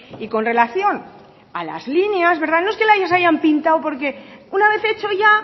y con relación a las líneas no es que las hayan pintado porque una vez hecho ya